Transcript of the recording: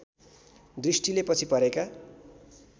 दृष्टिले पछि परेका